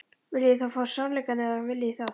Viljið þið fá sannleikann eða hvað viljið þið?